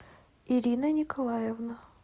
ирина николаевна